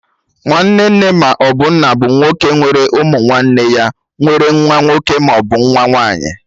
Nwanne nne maọbụ nna bụ nwoke nwere ụmụ nwanne ya nwere nwa nwoke maọbụ nwa nwaanyị